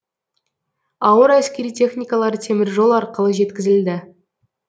ауыр әскери техникалар теміржол арқылы жеткізілді